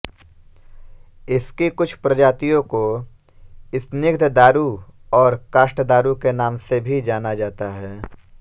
इसकी कुछ प्रजातियों को स्निग्धदारु और काष्ठदारु के नाम से भी जाना जाता है